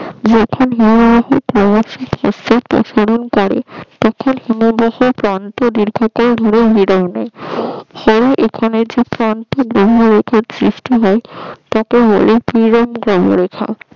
করে তখন হিমভহ তাকে বলে হিমহ রেখা